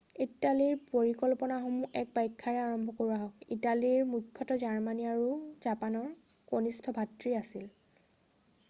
ইটালীৰ পৰিকল্পনাসমূহৰ এক ব্যাখ্যা্ৰে আৰম্ভ কৰোঁ আহক ইটালী মূখ্যতঃ জাৰ্মানী আৰু জাপানৰ কণিষ্ঠ ভাতৃ আছিল